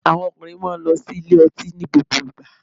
Àwọn ọkùnrin má a nlo sí ilé ọtí ní gbogbo ìgba